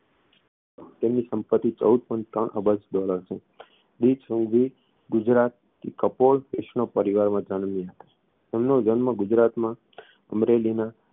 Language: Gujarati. તેમની સંપતિ ચૌદ point ત્રણ અબજ dollar છે દીલીપ સંઘવી ગુજરાત કપોળ વૈષ્ણવ પરિવારમાં જન્મ્યા હતા તેમનો જન્મ ગુજરાતમાં અમરેલીના